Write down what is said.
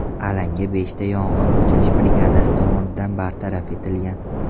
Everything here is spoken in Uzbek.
Alanga beshta yong‘in o‘chirish brigadasi tomonidan bartaraf etilgan.